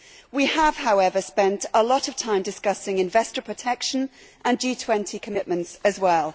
We have, however, spent a lot of time discussing investor protection and G20 commitments as well.